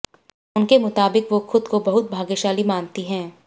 उनके मुताबिक वो खुद को बहुत भाग्यशाली मानती हैं